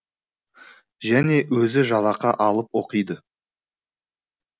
және өзі жалақы алып оқиды